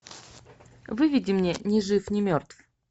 выведи мне ни жив ни мертв